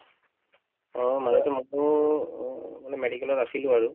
অ মাজতে মোকো অহ medical ত আছিলো আৰু